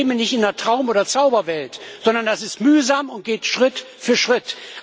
Wir leben hier nicht in der Traum oder Zauberwelt, sondern das ist mühsam und geht Schritt für Schritt.